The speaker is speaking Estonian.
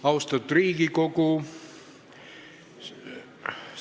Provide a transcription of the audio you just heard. Austatud Riigikogu!